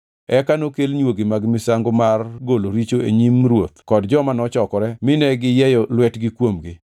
Eka nokel nywogi mag misango mar golo richo e nyim ruoth kod joma nochokore mine giyieyo lwetgi kuomgi.